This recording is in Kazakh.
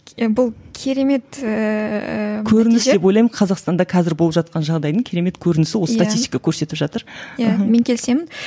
бұл керемет ііі көрініс деп ойлаймын қазақстанда қазір болып жатқан жағдайдың керемет көрінісі осы статистика көрсетіп жатыр иә мен келісемін